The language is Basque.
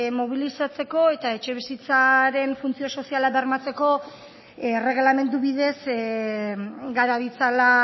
mobilizatzeko eta etxebizitzaren funtzio soziala bermatzeko erregelamendu bidez gara ditzala